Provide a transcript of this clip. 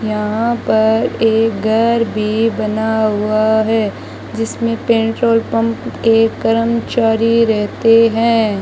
यहां पर एक घर भी बना हुआ है जिसमें पेट्रोल पंप के कर्मचारी रहते हैं।